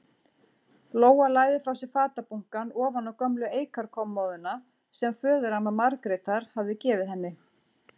Lóa lagði frá sér fatabunkann ofan á gömlu eikarkommóðuna sem föðuramma Margrétar hafði gefið henni.